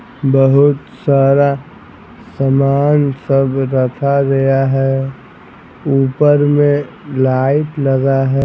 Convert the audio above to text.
बहुत सारा सामान सब रखा गया है ऊपर में लाइट लगा है।